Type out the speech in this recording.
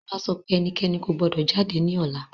Ọba sọ pé ẹnikẹ́ni kò gbọdọ̀ jáde ní ọ̀la